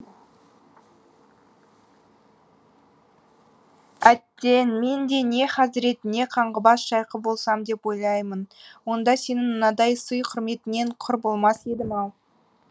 әттең мен де не хазірет не қаңғыбас шайқы болсам деп ойлаймын онда сенің мынадай сый құрметіңнен құр болмас едім ау